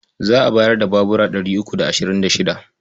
Za a bayar da babura ɗari uku da ashirin da shida.